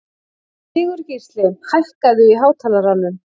Sigurgísli, hækkaðu í hátalaranum.